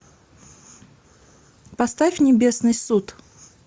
поставь небесный суд